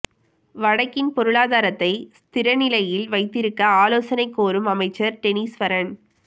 வடக்கின் பொருளாதாரத்தை ஸ்திர நிலையில் வைத்திருக்க ஆலோசனை கோரும் அமைச்சர் டெனிஸ்வரன்